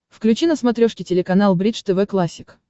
включи на смотрешке телеканал бридж тв классик